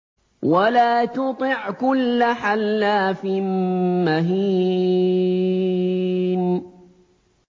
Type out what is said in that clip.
وَلَا تُطِعْ كُلَّ حَلَّافٍ مَّهِينٍ